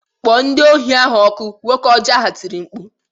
Kpọọ ndị ohi ahụ ọkụ! Nwoke ọjọ ahụ tiri mkpu